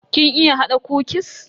Kin iya hada kukis?